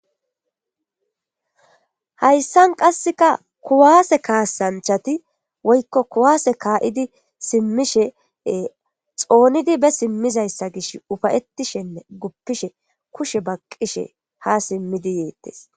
Hayssan qassikka kuwasse kaassanchchati woykko kuwase ka'idi simmishe xoonidi be simmizayssa gishshi ka'ishenne gopishe kushe baqqishe ha simmidi yeetes.